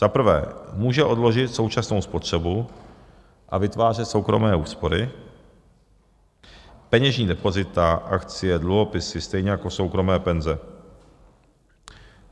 Za prvé může odložit současnou spotřebu a vytvářet soukromé úspory, peněžní depozita, akcie, dluhopisy, stejně jako soukromé penze.